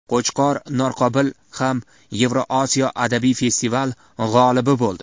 Qo‘chqor Norqobil ham Yevrosiyo adabiy festivali g‘olibi bo‘ldi.